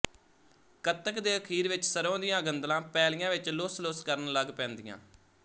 ਕੱਤਕ ਦੇ ਅਖੀਰ ਵਿਚ ਸਰ੍ਹੋਂ ਦੀਆਂ ਗੰਦਲਾਂ ਪੈਲੀਆਂ ਵਿਚ ਲੁੱਸਲੁੱਸ ਕਰਨ ਲੱਗ ਪੈਂਦੀਆਂ